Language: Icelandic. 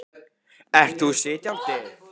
Ert þú sitjandi?